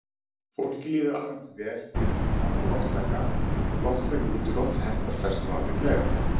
Fólki líður almennt vel við háan loftraka, loftraki útilofts hentar flestum ágætlega.